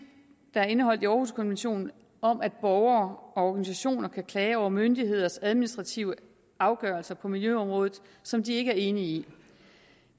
der er indeholdt i århuskonventionen om at borgere og organisationer kan klage over myndigheders administrative afgørelser på miljøområdet som de ikke er enige i